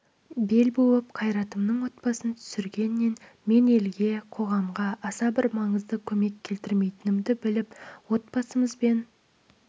бел буып қайратымның отбасын түсіргеннен мен елге қоғамға аса бір маңызды көмек келтірмейтінімді біліп отбасымызбен